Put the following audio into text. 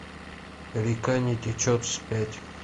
река не течет вспять